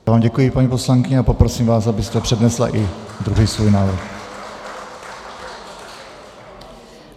Já vám děkuji, paní poslankyně, a poprosím vás, abyste přednesla i druhý svůj návrh.